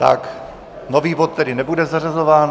Tak, nový bod tedy nebude zařazován.